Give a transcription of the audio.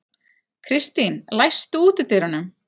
Kristín, læstu útidyrunum.